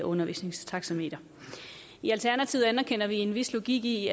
undervisningstaxameter i alternativet anerkender vi en vis logik i